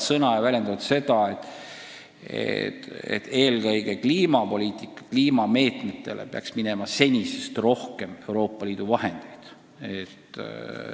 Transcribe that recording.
Loomulikult see ei ole veel ametlik positsioon, aga riikide esindajad võtavad kohtumistel sel teemal sõna.